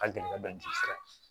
A gɛlɛya dɔ